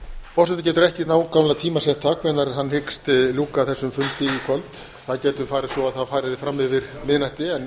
forseti getur ekki nákvæmlega tímasett það hvenær hann hyggst ljúka þessum fundi í kvöld það getur farið svo að það fari fram yfir miðnætti en